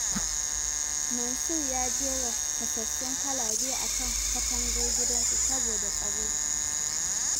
Mansur ya jera fasassun kwalabe a kan katangar gidansa, saboda tsaro.